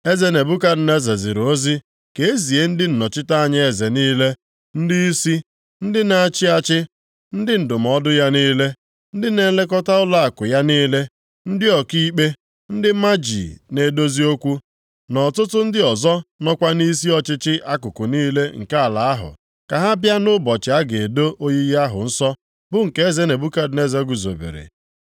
Eze Nebukadneza ziri ozi ka e zie ndị nnọchite anya eze niile, ndịisi, ndị na-achị achị, ndị ndụmọdụ ya niile, ndị na-elekọta ụlọakụ ya niile, ndị ọkaikpe, ndị maji na-edozi okwu na ọtụtụ ndị ọzọ nọkwa nʼisi ọchịchị akụkụ niile nke ala ahụ, ka ha bịa nʼụbọchị a ga-edo oyiyi ahụ nsọ bụ nke eze Nebukadneza guzobere.